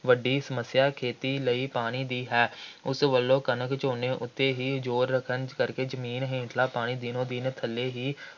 ਵੱਡੀ ਸਮੱਸਿਆ ਖੇਤੀ ਲਈ ਪਾਣੀ ਦੀ ਹੈ। ਉਸ ਵੱਲੋਂ ਕਣਕ, ਝੋਨੇ ਉੱਤੇ ਹੀ ਜ਼ੋਰ ਰੱਖਣ ਕਰਕੇ ਜ਼ਮੀਨ ਹੇਠਲਾਂ ਪਾਣੀ ਦਿਨੋ-ਦਿਨ ਥੱਲੇ ਹੀ